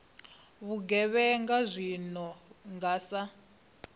vhugevhenga zwi no nga sa